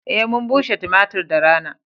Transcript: Eh mun bushe tumatir da rana.